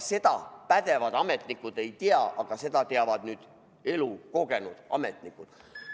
Seda pädevad ametnikud ei tea, aga seda teavad nüüd elukogenud ametnikud.